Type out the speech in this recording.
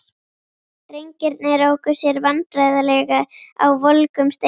Drengirnir óku sér vandræðalega á volgum steinunum.